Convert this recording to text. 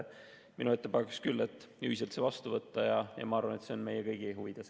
Minu ettepanek on see ühiselt vastu võtta ja ma arvan, et see on meie kõigi huvides.